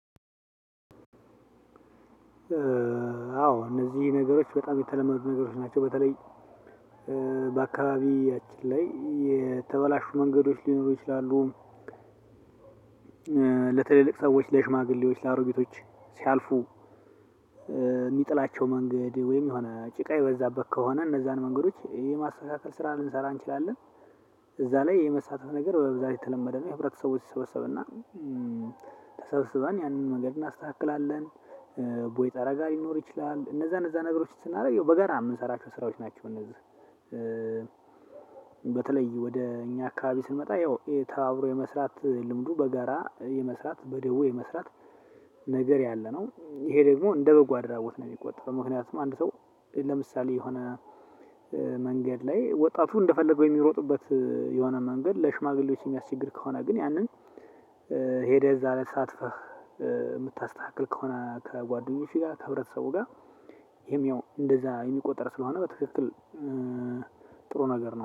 አዎ እነዚህ ነገሮች በጣም የተለመዱ ነገሮች ናቸው። በተለይ በአካባቢያችን ላይ የተበላሹ መንገዶች ሊኖሩ ይችላሉ። ለትልልቅ ሰዎች ለሽማግሌዎች ለአሮጊቶች ሲያልፉ የሚጥላቸው መንገድ ወይም የሆነ ጭቃ የበዛበት ከሆነ እነዛን መንገዶች ይሄ ማስተካከል ስራ ልንሰራ እንችላለን። እዛ ላይ የመሳተፍ ነገር በብዛት የተለመደ ነው የህብረተሰቦች ይሰበሰብና ተሰብስበን ያንን መንገድ እናስተካክላለን። ቦይ ጠረጋ ሊኖር ይችላል እነዛ እነዛ ነገሮችን ስናደርግ በጋራ የምንሰራቸው ስራዎች ናቸው። እነዛ እነዚህ በተለይ ወደ እኛ አካባቢ ስንመጣ፣ ያው ይሄ ተባብሮ የመስራት ልምዱ በገራ የመስራት በደቦ የመስራት ነገር ያለ ነው ይሄ ደግሞ እንደ በጎ አድራጎት ነው የሚቆጠረው። ምክንያቱም አንድ ሰው ለምሳሌ የሆነ መንገድ ላይ ወጣቱ እንደፈለገው የሚሮጡበት የሆነ መንገድ ለሽማግሌዎች የሚያስቸግር ከሆነ ግን ያንን ሄደህ እዛ ላይ ተሳትፈህ የምታስተካክል ከሆነ ከጓደኞችህ ጋር ከህብረተሰቡ ጋር ይሄም ያው እንደዛ የሚቆጠር ስለሆነ በትክክል ጥሩ ነገር ነው